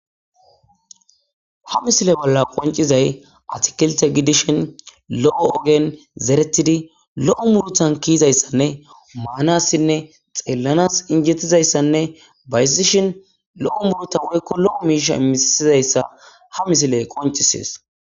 ha misile bolla qoncizay atkelte gidishin lo7o ogen zeretidi lo7o muruthan kiizayssanne maanassinne xeellanas injettizayssanne bayzishin lo7o muruta woykko lo7o miisha misizayssa ha misile qoncisees